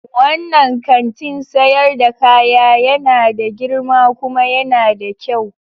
Wannan kantin sayar da kaya yana da girma kuma yana da kyau.